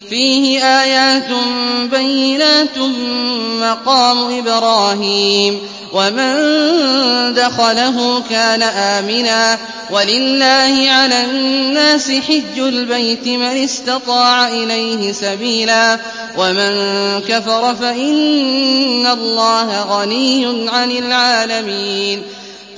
فِيهِ آيَاتٌ بَيِّنَاتٌ مَّقَامُ إِبْرَاهِيمَ ۖ وَمَن دَخَلَهُ كَانَ آمِنًا ۗ وَلِلَّهِ عَلَى النَّاسِ حِجُّ الْبَيْتِ مَنِ اسْتَطَاعَ إِلَيْهِ سَبِيلًا ۚ وَمَن كَفَرَ فَإِنَّ اللَّهَ غَنِيٌّ عَنِ الْعَالَمِينَ